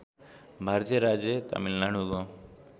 भारतीय राज्य तमिलनाडुको